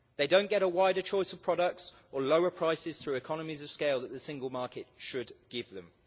They don't get a wider choice of products or lower prices through economies of scale that the single market should give them.